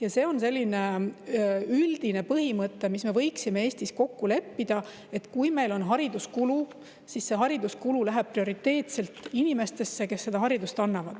Ja üldine põhimõte, milles me võiksime Eestis kokku leppida, on see, et kui meil on hariduskulu, siis see hariduskulu läheb prioriteetselt inimestesse, kes haridust annavad.